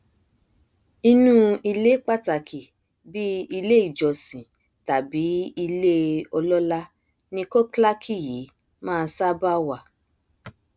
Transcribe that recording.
inú ilé pàtàkì bíi ilé ìjọsìn tàbí ilé ọlọlá ni khoklaki yìí máa ṣába wà